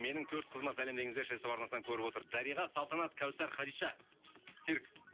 менің төрт қызыма сәлем деңіздерші ств арнасынан көріп отыр дариға салтанат кәусар хадиша серік